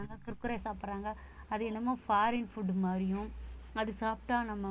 குர்குரே சாப்பிடுறாங்க அது என்னமோ foreign food மாதிரியும் அது சாப்பிட்டா நம்ம